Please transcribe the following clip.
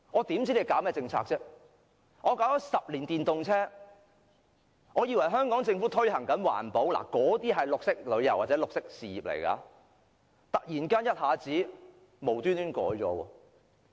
電動車推出了10年，當我們以為政府推行環保，推動綠色旅遊或綠色事業時，司長卻突然一下子無緣無故取消優惠。